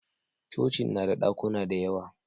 cocin na da dakuna da yawa